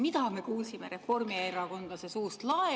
Mida me kuulsime reformierakondlase suust?